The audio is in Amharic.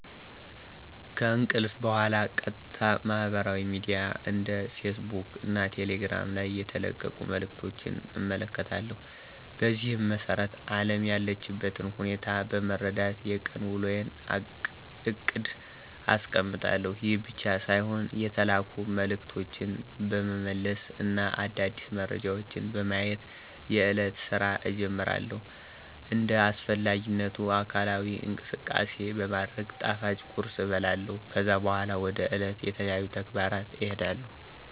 ከእንቅልፍ በኋላ ቀጥታ ማህበራዊ ሚድያ እንደ ፌስ ቡክ እና ቴሌግራም ላይ የተለቀቁ መልዕክቶችን እመለከታለሁ። በዚህም መሰረት አለም ያለችበትን ሁኔታ በመረዳት የቀን ዉሎየን እቅድ አስቀምጣለሁ። ይህ ብቻ ሳይሆን የተላኩ መልዕክቶችን በመመለስ እና አዳዲስ መረጃዎችን በማየት የእለቱን ስራ እጀምራለሁ። እንደ አስፈላጊነቱ አካላዊ እንቅስቃሴ በማድረግ ጣፋጭ ቁርስ እበላለሁ። ከዛ በኋላ ወደ ዕለቱ ተለያዩ ተግባራት እሄዳለሁ።